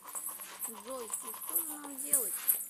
джой и что же нам делать